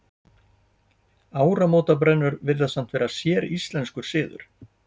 Áramótabrennur virðast samt vera séríslenskur siður.